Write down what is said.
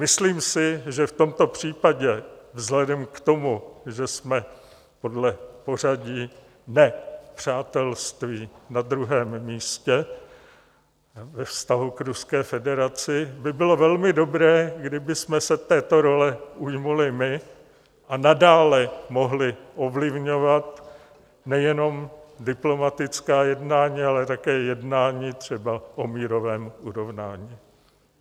Myslím si, že v tomto případě vzhledem k tomu, že jsme podle pořadí ne-přátelství na druhém místě ve vztahu k Ruské federaci, by bylo velmi dobré, kdybychom se této role ujali my, a nadále mohli ovlivňovat nejenom diplomatická jednání, ale také jednání třeba o mírovém urovnání.